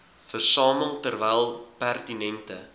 versamel terwyl pertinente